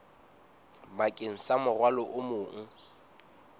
bakeng sa morwalo o mong